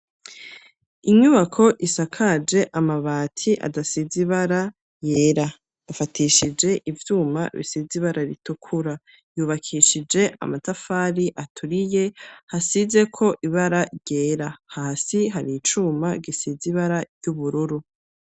Inyubako isakaje amabati, adasize ibara, yera; afatishije ivyuma bisize ibara ritukura; yubakishije amatafari aturiye, hasizeko ibara ryera; hasi hari icuma gisize ibara y'ubururu.